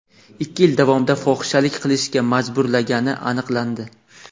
ikki yil davomida fohishalik qilishga majburlagani aniqlandi.